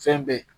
Fɛn bɛɛ